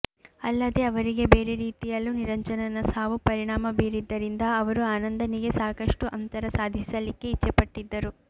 ಅಲ್ಲದೆ ಅವರಿಗೆ ಬೇರೆ ರೀತಿಯಲ್ಲೂ ನಿರಂಜನನ ಸಾವು ಪರಿಣಾಮ ಬೀರಿದ್ದರಿಂದ ಅವರು ಆನಂದನಿಗೆ ಸಾಕಷ್ಟು ಅಂತರ ಸಾಧಿಸಲಿಕ್ಕೆ ಇಚ್ಚೆಪಟ್ಟಿದ್ದರು